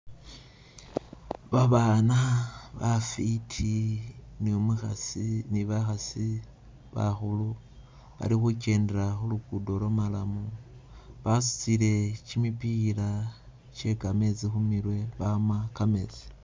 Babaana bafwiti ne umukhasi, ne bakhasi bakhulu bali khukendela khulugudo lwo'marrum basutile kimipila kye kametsi khumirwe bama kametsi.